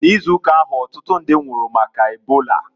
N'ịzụụka ahu, ọtụtụ ndi nwụrụ maka ebola.